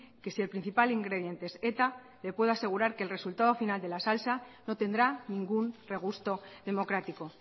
que si el principal ingrediente es eta le puedo asegurar que el resultado final de la salsa no tendrá ningún regusto democrático